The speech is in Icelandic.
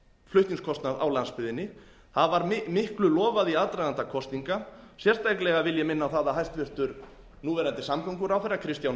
flutningskostnað á landsbyggðinni það var miklu lofað í aðdraganda kosninga sérstaklega vil ég minna á það að hæstvirtur núverandi samgönguráðherra kristján